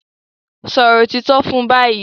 Sòrò òtítọ́ fún bayí!